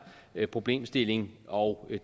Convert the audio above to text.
problemstilling og det